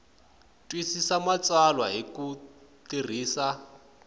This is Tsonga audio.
twisisa matsalwa hi ku tirhisa